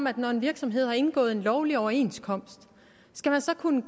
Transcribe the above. at når en virksomhed har indgået en lovlig overenskomst skal man så kunne